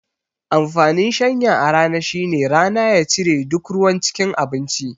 Amfanin shanya a rana shine rana ya cire duk ruwan cikin abinci